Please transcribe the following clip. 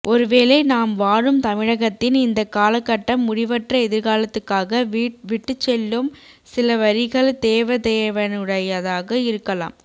ஒருவேளை நாம் வாழும் தமிழகத்தின் இந்தக் காலகட்டம் முடிவற்ற எதிர்காலத்துக்காக விட்டுச்செல்லும் சிலவரிகள் தேவதேவனுடையதாக இருக்கலாம்